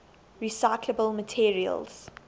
recyclable materials